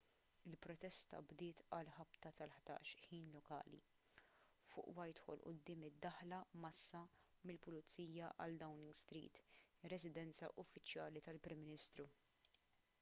il-protesta bdiet għal ħabta tal-11:00 ħin lokali utc+1 fuq whitehall quddiem id-daħla mgħassa mill-pulizija għal downing street ir-residenza uffiċjali tal-prim ministru